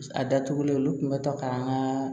A datugulen olu kun bɛ to k'an ka